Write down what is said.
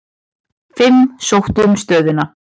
Fimm sóttu um stöðuna.